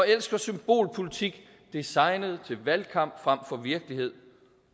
elsker symbolpolitik designet til valgkamp frem for virkelighed